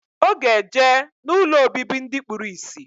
Oga eje na ụlọ obibi ndi kpuru isi.